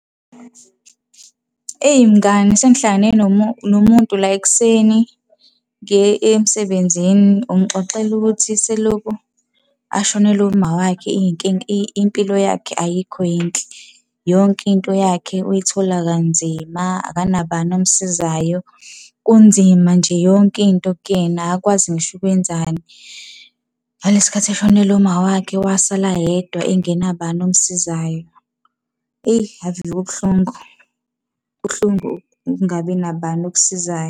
Eyi mngani sengihlangane nomuntu la ekuseni, ngiye emsebenzini. Ungixoxela ukuthi selokhu ashonelwe umawakhe impilo yakhe ayikho yinhle. Yonke into yakhe uyithola kanzima, akanabani omsizayo, kunzima nje yonke into kuyena akakwazi ngisho ukwenzani. Ngalesi sikhathi eshonelwe umawakhe wasala yedwa engenabani omsizayo. Eyi ave kubuhlungu, kubuhlungu ukungabi nabani okusizayo.